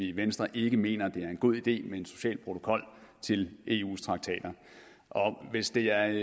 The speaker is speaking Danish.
i venstre ikke mener det er en god idé med en social protokol til eus traktater og hvis det er